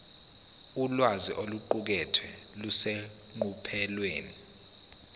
ulwazi oluqukethwe luseqophelweni